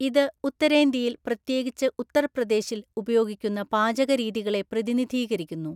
ഇത് ഉത്തരേന്ത്യയിൽ, പ്രത്യേകിച്ച് ഉത്തർപ്രദേശിൽ ഉപയോഗിക്കുന്ന പാചകരീതികളെ പ്രതിനിധീകരിക്കുന്നു.